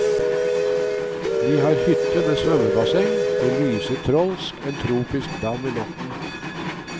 Vi har hytte med svømmebasseng, det lyser trolsk, en tropisk dam i natten.